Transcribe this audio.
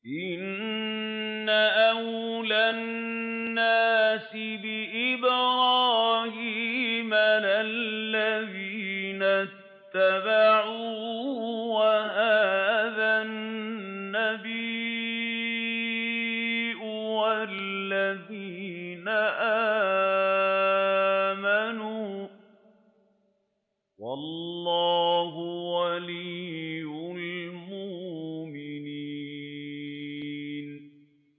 إِنَّ أَوْلَى النَّاسِ بِإِبْرَاهِيمَ لَلَّذِينَ اتَّبَعُوهُ وَهَٰذَا النَّبِيُّ وَالَّذِينَ آمَنُوا ۗ وَاللَّهُ وَلِيُّ الْمُؤْمِنِينَ